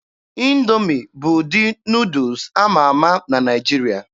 Indoomi bụ ụdị Nuudus ama ama na Naịjirịa.